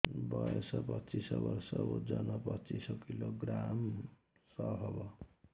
ବୟସ ପଚିଶ ବର୍ଷ ଓଜନ ପଚିଶ କିଲୋଗ୍ରାମସ ହବ